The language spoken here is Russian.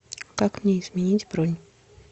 как мне изменить бронь